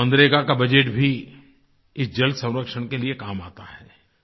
मनरेगा का बजेट भी इस जलसंरक्षण के लिए काम आता है